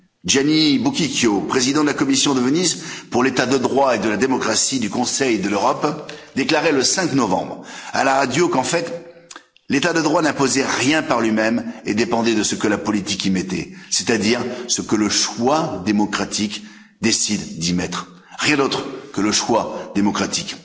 Gianni Buquicchio, président de la commission de Venise pour l'état de droit et la démocratie du Conseil de l'Europe, déclarait le 5 novembre, à la radio, qu'en fait, l'état de droit n'imposait rien par lui même et dépendait de ce que la politique y mettait, c'est à dire ce que le choix démocratique décide d'y mettre, rien d'autre que le choix démocratique.